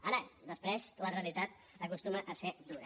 ara després la realitat acostuma a ser dura